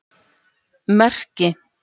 Merki